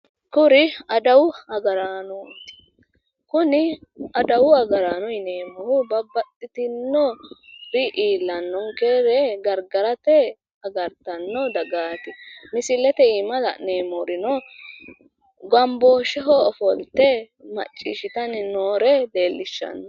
kuri adawu agaraanoti, kuni adawu agaraano yineemori babbaxxitinori iillanonkere gargarate agarattanno dagati. misilete iima la'neemorino gamboosheho ofolte maccishitanni noore leellishanno.